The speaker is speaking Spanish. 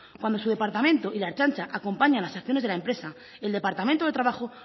cuando su departamento y la ertzaintza acompañan las acciones de la empresa el departamento de trabajo